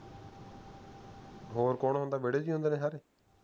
ਹੋਰ ਕੌਣ ਹੁੰਦੈ ਵੇਹੜੇ ਚ ਹੁੰਦੇ ਨੇ ਸਾਰੇ